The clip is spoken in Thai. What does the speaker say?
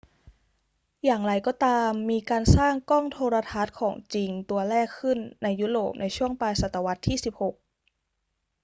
อย่างไรก็ตาม มีการสร้างกล้องโทรทรรศน์ของจริงตัวแรกขึ้นในยุโรปในช่วงปลายศตวรรษที่ 16